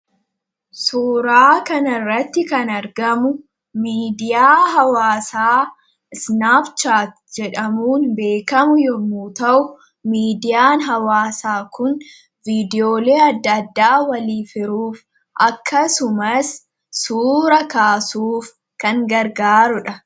Suuraa kan irratti kan argamu miidiyaa hawaasaa isnaapchaa jedhamuun beekamu yommuu ta'u miidiyaan hawaasaa kun viidiyoolii adda addaa walii firuuf akkasumas suura kaasuuf kan gargaarudha.